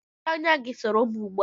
Mèchié ányá gi soro m ugbua